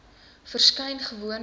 verskyn gewoon lik